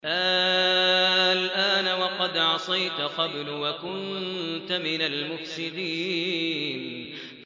آلْآنَ وَقَدْ عَصَيْتَ قَبْلُ وَكُنتَ مِنَ الْمُفْسِدِينَ